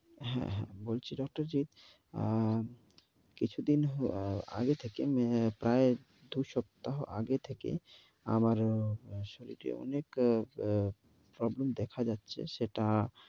হ্যাঁ হ্যাঁ বলছি doctor যে, কিছুদিন আগে থেকে প্রায় দুই সপ্তাহ আগে থেকে আমারও শরীতে অনেক problem দেখা যাচ্ছে। সেটা